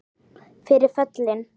Fyrir föllin